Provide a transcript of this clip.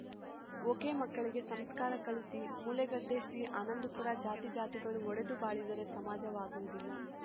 ಒಕೆಮಕ್ಕಳಿಗೆ ಸಂಸ್ಕಾರ ಕಲಿಸಿ ಮೂಲೆಗದ್ದೆ ಶ್ರೀ ಆನಂದಪುರ ಜಾತಿಜಾತಿಗಳು ಒಡೆದು ಬಾಳಿದರೆ ಸಮಾಜವಾಗುವುದಿಲ್ಲ